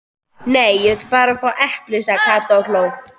Nei, ég vil bara fá epli sagði Kata og hló.